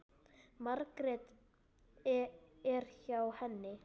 Margrét er hjá henni.